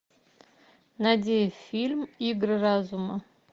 найди фильм игры разума